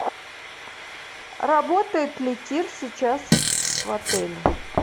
работает ли тир сейчас в отеле